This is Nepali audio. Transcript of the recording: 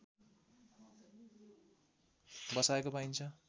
बसाएको पाइन्छ